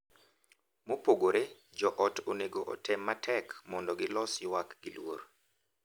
Mopogore, joot onego otem matek mondo gilos ywak gi luor .